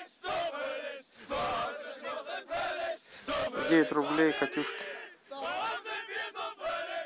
девять рублей катюшке